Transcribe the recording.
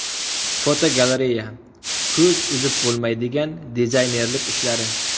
Fotogalereya: Ko‘z uzib bo‘lmaydigan dizaynerlik ishlari.